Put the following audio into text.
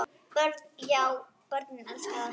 Björn: Já börnin elska það?